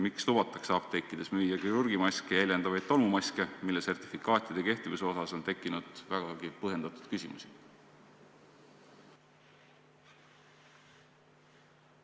Miks lubatakse apteekides müüa kirurgimaske jäljendavaid tolmumaske, mille sertifikaatide kehtivuse suhtes on tekkinud vägagi põhjendatud küsimusi?